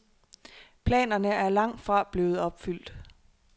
Planerne er langtfra blevet opfyldt.